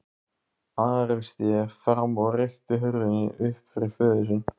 Ari sté fram og rykkti hurðinni upp fyrir föður sinn.